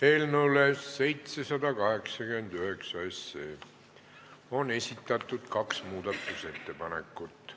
Eelnõu 789 kohta on esitatud kaks muudatusettepanekut.